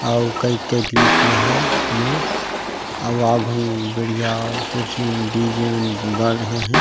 अउ कई-कई के लिखिय हाय ओमा आओ घुमा-घुमा कुर्सियां मन बइठ जा हे।